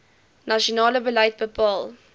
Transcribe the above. nasionale beleid bepaal